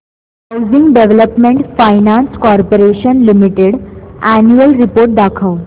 housing development finance corporation limited annual report दाखव